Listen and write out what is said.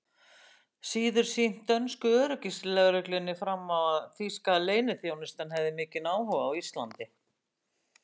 síður sýnt dönsku öryggislögreglunni fram á, að þýska leyniþjónustan hefði mikinn áhuga á Íslandi.